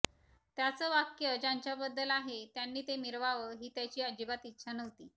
त्याचं वाक्य ज्यांच्याबद्दल आहे त्यांनी ते मिरवावं ही त्याची अजिबात इच्छा नव्हती